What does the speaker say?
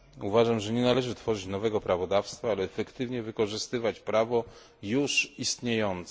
Uważam, że nie należy tworzyć nowego prawodawstwa, ale efektywnie wykorzystywać prawo juz istniejące.